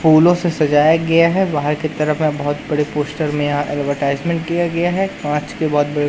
फूलों से सजाया गया है बाहर की तरफ में बहुत बड़े पोस्टर में यहाँ एडवरटाइज़मेंट किया गया है पांच के बाद बड़े --